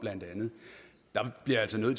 noget